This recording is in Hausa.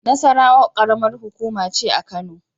Nasarawa ƙaramar hukuma ce a Kano.